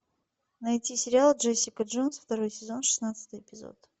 найти сериал джессика джонс второй сезон шестнадцатый эпизод